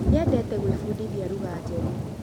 Nĩendete kũĩfundithia lũgha njeru